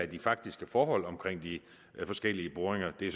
de faktiske forhold omkring de forskellige boringer det er